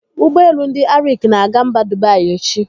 Ụgbọelu ndị Arik na-aga mba Dubai echi.